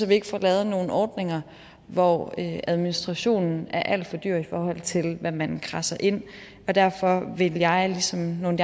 vi ikke får lavet nogle ordninger hvor administrationen er alt for dyr i forhold til hvad man kradser ind og derfor vil jeg som nogle